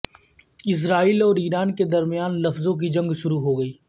اسرائیل اور ایران کے درمیان لفظوں کی جنگ شروع ہوگئی